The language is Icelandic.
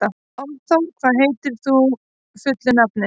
Álfþór, hvað heitir þú fullu nafni?